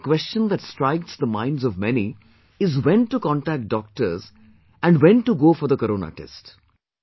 Firstly, a question that strikes the minds of many is when to contact doctors and when to go for the Corona test